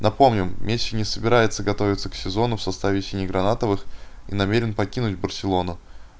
напомним месси не собирается готовиться к сезону в составе сине-гранатовых и намерен покинуть барселону